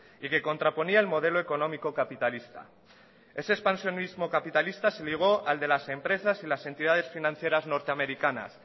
y que contraponía el modelo económico capitalista ese expansionismo capitalista se ligó al de las empresas y las entidades financieras norteamericanas